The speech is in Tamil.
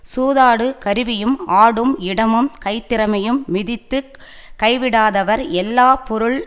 சூதாடு கருவியும் ஆடும் இடமும் கைத்திறமையும் மதித்து கைவிடாதவர் எல்லா பொருள்